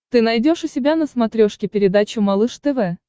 ты найдешь у себя на смотрешке передачу малыш тв